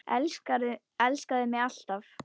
Elskaðu mig alt af.